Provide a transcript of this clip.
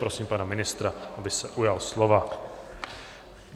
Prosím pana ministra, aby se ujal slova.